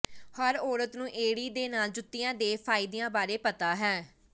ਹਰ ਔਰਤ ਨੂੰ ਏੜੀ ਦੇ ਨਾਲ ਜੁੱਤੀਆਂ ਦੇ ਫਾਇਦਿਆਂ ਬਾਰੇ ਪਤਾ ਹੈ